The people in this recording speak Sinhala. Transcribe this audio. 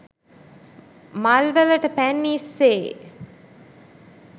මල්වලට පැන් ඉස්සේ